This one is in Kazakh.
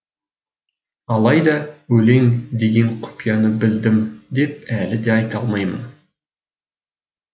алайда өлең деген құпияны білдім деп әлі де айта алмаймын